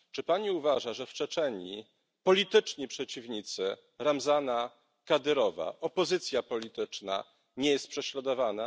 Czy Pani uważa, że w Czeczenii polityczni przeciwnicy Ramzana Kadyrova opozycja polityczn nie są prześladowani?